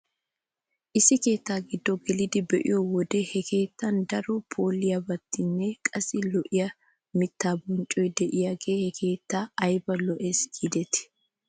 Issi keetta giddo gelidi be'iyoo wode he keettan daro phooliyaabatinne qassi lo'iyaa mittaa bonccoy de'iyaagee he keettay ayba lo'es giidetii.